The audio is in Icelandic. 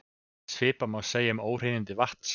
Svipað má segja um óhreinindi vatns.